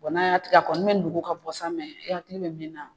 N'a y'a tigɛ a kɔni bɛ nugu ka bɔ sa hakili bɛ min na.